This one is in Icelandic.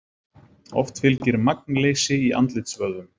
Oft fylgir magnleysi í andlitsvöðvum.